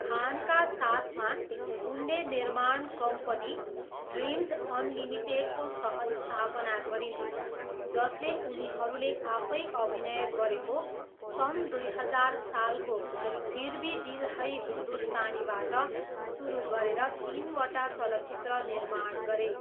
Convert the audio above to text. खानका साथमा, उनले निर्माण कम्पनी ड्रिम्ज अनलिमिटेडको सहस्थापना गरिन्, जसले उनीहरूले आफै अभिनय गरेको सन् दुई हजार सालको फिर भी दिल है हिन्दुस्तानीबाट सुरु गरेर तिनवटा चलचित्र निर्माण गरे।